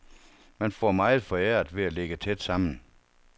Man får meget foræret ved at ligge tæt sammen.